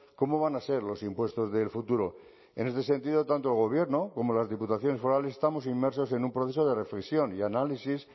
cómo van a ser los impuestos del futuro en este sentido tanto el gobierno como las diputaciones forales estamos inmersos en un proceso de reflexión y análisis